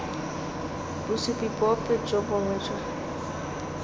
bosupi bope jo bongwe jo